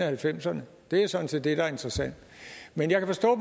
halvfemserne det er jo sådan set det der er interessant men jeg kan forstå